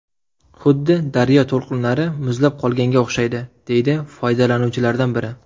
Xuddi daryo to‘lqinlari muzlab qolganga o‘xshaydi”, deydi foydalanuvchilardan biri.